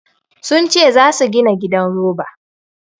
Sun ce za su gina gidan roba.